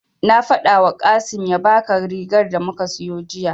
Na faɗawa Kasim ya baka rigar da muka siyo jiya.